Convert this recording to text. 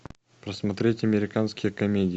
просмотреть американские комедии